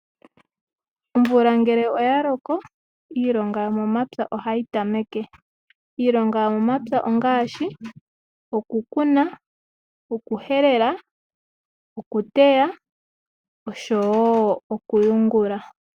Omvula ngele oya loko iilonga yomomapya ohayi tameke. Iilonga yomomapya ongaashi okukuna, okuhelela, okuteya oshowo okuyungula.